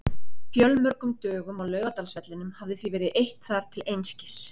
Fjölmörgum dögum á Laugardalsvellinum hafði því verið eytt þar til einskis.